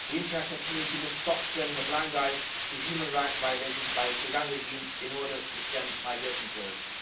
The international community must stop turning a blind eye to human rights violations by the Sudan regime in order to stem migration flows.